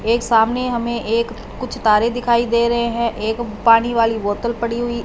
एक सामने हमे एक कुछ तारे दिखाई दे रहे है। एक पानी वाली बॉटल पड़ी हुई--